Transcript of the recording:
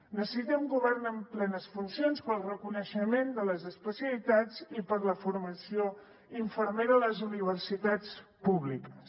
necessitem un govern amb plenes funcions per al reconeixement de les especialitats i per a la formació infermera a les universitats públiques